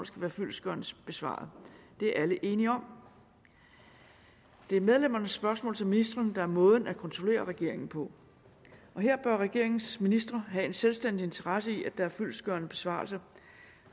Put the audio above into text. skal være fyldestgørende besvaret det er alle enige om det er medlemmernes spørgsmål til ministrene der er måden at kontrollere regeringen på og her bør regeringens ministre have en selvstændig interesse i at der er en fyldestgørende besvarelse